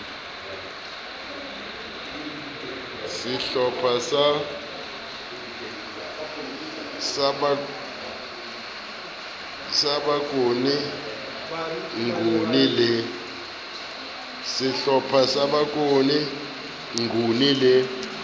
sehlopha sa bokone nguni le